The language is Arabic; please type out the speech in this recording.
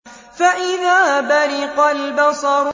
فَإِذَا بَرِقَ الْبَصَرُ